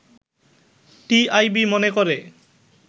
“TIB মনে করে